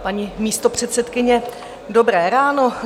Paní místopředsedkyně, dobré ráno.